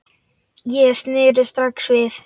Ég sneri strax við.